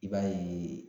I b'a ye